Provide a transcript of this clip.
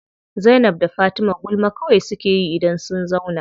Zainab da Fatima gulma kawai suke yi idan sun zauna.